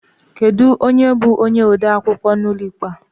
Kedụ onye bú onye odeakwụkwọ n'ụlọ ikpe a?